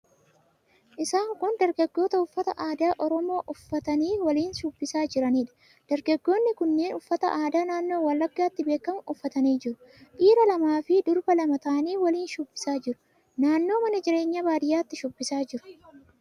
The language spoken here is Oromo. Isaan kun dargaggoota uffata aadaa Oromoo uffatanii waliin shubbisaa jiraniidha. Dargaggoonni kunneen uffata aadaa naannoo Wallaggaatti beekamu uffatanii jiru. Dhiira lamaa fi durba lama ta'anii waliin shubbisaa jiru. Naannoo mana jireenyaa baadiyyaatti shubbisaa jiru.